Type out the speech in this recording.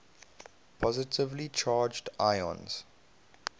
positively charged ions